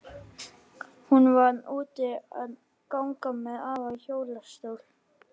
Hún var úti að ganga með afa í hjólastól.